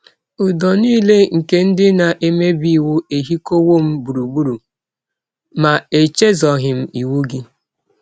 Ụdọ nile nke ndị na - emebi iwụ ehikọwọ m gbụrụgbụrụ; ma echezọghị m iwụ gị. ”